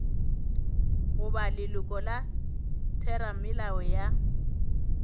goba leloko la theramelao ya